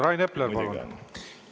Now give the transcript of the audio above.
Rain Epler, palun!